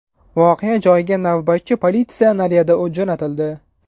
Voqea joyiga navbatchi politsiya naryadi jo‘natildi.